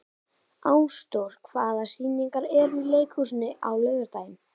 Ásdór, hvaða sýningar eru í leikhúsinu á laugardaginn?